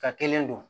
Ka kelen don